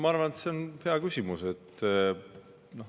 Ma arvan, et see on hea küsimus.